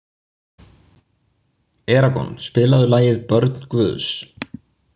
Eragon, spilaðu lagið „Börn Guðs“.